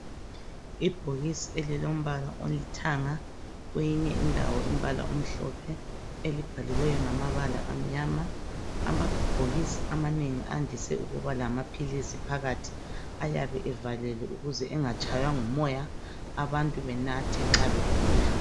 Ibhokisi elilombala olithanga kweyinye indawo umbala omhlophe elibhaliweyo ngamabala amnyama. Amabhokisi amanengi andise ukuba lamaphiisi phakathi .Ayabe evalelwe ukuze angatshaywa ngumoya, abantu banathe nxa begula.